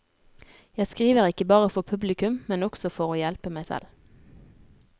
Jeg skriver ikke bare for publikum, men også for å hjelpe meg selv.